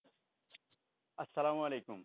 আসসালামু আলাইকুম